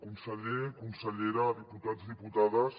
conseller consellera diputats diputades